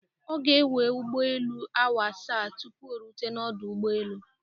Ọ ga ewe ụgbọ elu awa asaa tupu orute n'ọdụ ụgbọ elu.